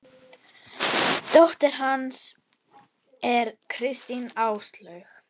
Dóttir hans er Kristín Áslaug.